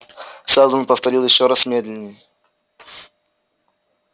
сэлдон повторил ещё раз медленнее